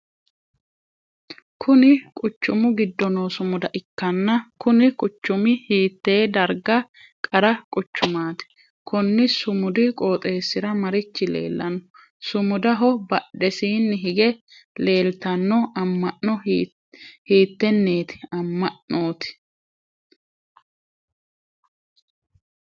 Kunni kuchumu gido noo sumuda ikanna kunni quchumi hiitee dagra qara quchumaati? Konni sumudu qooxeesira marichi leelano? Sumudaho badhesiinni hige leeltano ama'no hiiteneeti ama'nooti?